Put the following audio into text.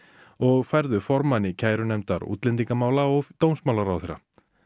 og færðu formanni kærunefndar útlendingamála og dómsmálaráðherra